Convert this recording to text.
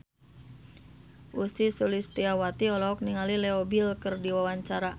Ussy Sulistyawati olohok ningali Leo Bill keur diwawancara